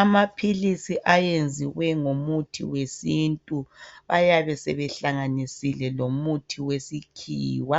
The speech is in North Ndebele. Amaphilisi ayenziwe ngomuthi wesintu, ayabe sebehlanganisile lomuthi wesikhiwa.